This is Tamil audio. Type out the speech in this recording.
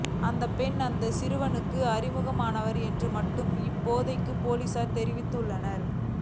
அந்த பெண் அந்த சிறுவனுக்கு அறிமுகமானவர் என்று மட்டுமே இப்போதைக்கு பொலிசார் தெரிவித்துள்ளனர்